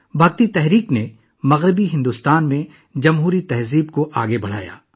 بھکتی تحریک نے مغربی بھارت میں جمہوریت کے کلچر کو آگے بڑھایا